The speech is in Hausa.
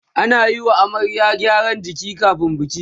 ana Yi wa amaryar gyaran jiki kamin biki